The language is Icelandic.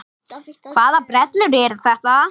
Hvaða brellur eru þetta?